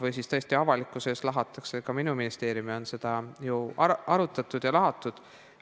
Või siis tõesti on minu ministeeriumi lahatud avalikkuse ees – on seda ju arutatud ja lahatud.